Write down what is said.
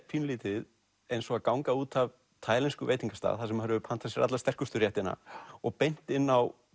pínulítið eins og að ganga út af veitingastað þar sem maður hefur pantað sér alla sterkustu réttina og beint inn á